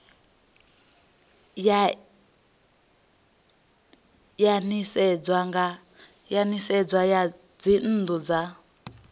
ya nisedzo ya dzinnu dza